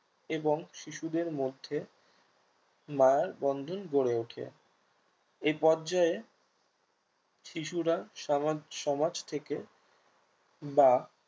এবং শিশুদের মধ্যে মায়ার বন্ধন গড়ে ওঠে এই পর্যায়ে শিশুরা সমাজ সমাজ থেকে বা